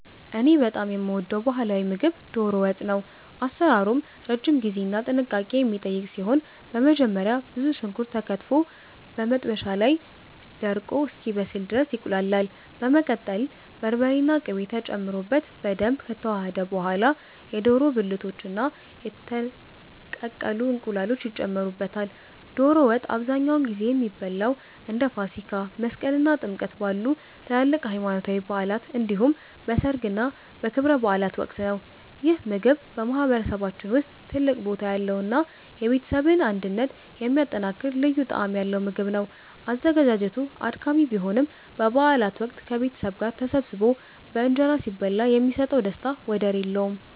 እኔ በጣም የምወደው ባህላዊ ምግብ 'ዶሮ ወጥ' ነው። አሰራሩም ረጅም ጊዜና ጥንቃቄ የሚጠይቅ ሲሆን፣ በመጀመሪያ ብዙ ሽንኩርት ተከትፎ በመጥበሻ ላይ ደርቆ እስኪበስል ድረስ ይቁላላል። በመቀጠል በርበሬና ቅቤ ተጨምሮበት በደንብ ከተዋሃደ በኋላ፣ የዶሮ ብልቶችና የተቀቀሉ እንቁላሎች ይጨመሩበታል። ዶሮ ወጥ አብዛኛውን ጊዜ የሚበላው እንደ ፋሲካ፣ መስቀል እና ጥምቀት ባሉ ትላልቅ ሃይማኖታዊ በዓላት እንዲሁም በሠርግና በክብረ በዓላት ወቅት ነው። ይህ ምግብ በማህበረሰባችን ውስጥ ትልቅ ቦታ ያለውና የቤተሰብን አንድነት የሚያጠናክር ልዩ ጣዕም ያለው ምግብ ነው። አዘገጃጀቱ አድካሚ ቢሆንም፣ በበዓላት ወቅት ከቤተሰብ ጋር ተሰባስቦ በእንጀራ ሲበላ የሚሰጠው ደስታ ወደር የለውም።